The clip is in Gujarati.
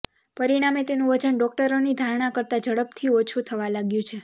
પરિણામે તેનું વજન ડોક્ટરોની ધારણા કરતાં ઝડપથી ઓછું થવા લાગ્યું છે